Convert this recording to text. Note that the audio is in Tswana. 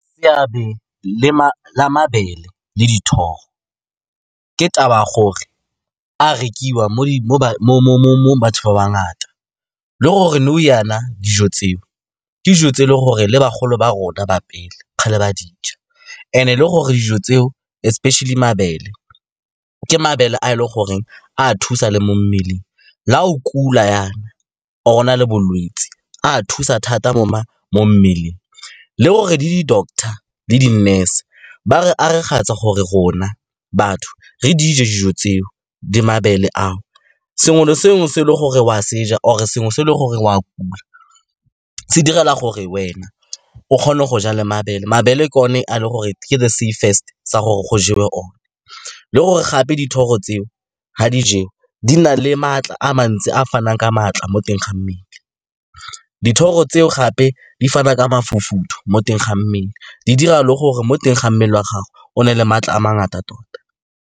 Seabe la mabele le dithoro ke taba ya gore a rekiwa mo batho ba ba ngata, le gore nou jaana dijo tse o ke dijo tse e le gore le bagolo ba rona ba pele kgale ba di ja, and-e le gore dijo tseo, especially mabele, ke mabele a e le gore a thusa le mo mmeleng. La o kula jaana, or o na le bolwetse, a thusa thata mo mmeleng, le gore le di-doctor le di-nurse ba re gore rona batho re di je dijo tseo, di mabele ao. Sengwe le sengwe se e le gore o a se ja, or sengwe se e le gore o a kula, se direla gore wena o kgone go ja le mabele. Mabele e ke one a le gore ke the safest sa gore go jewe one, le gore gape dithoro tseo ga di jewa, di na le maatla a mantsi a a fanang ka maatla mo teng ga mmele. Dithoro tseo gape di fana ka mo teng ga mmele, di dira le gore mo teng ga mmele wa gago o nne le maatla a mangata tota.